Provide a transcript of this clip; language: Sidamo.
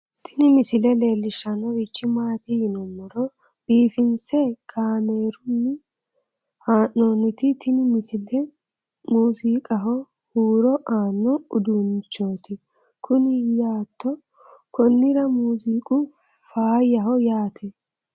tini misile leellishshannori maati yinummoro biifinse kaaamerunni haa'noonti tini misile musiqaho hurro aanno uduunnichooti kuni yaate konnira muziiqu faayyaho yaate